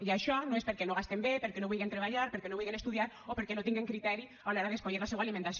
i això no és perquè no gasten bé perquè no vulguen treballar perquè no vulguen estudiar o perquè no tinguen criteri a l’hora d’escollir la seua alimentació